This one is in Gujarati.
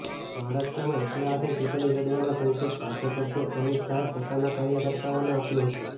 મહારાષ્ટ્રમાં એકલા હાથે ચૂંટણી લડવાના સંકેત ભાજપ અધ્યક્ષ અમિત શાહે પોતાના કાર્યકર્તાઓને આપ્યો હતો